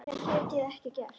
Meira get ég ekki gert.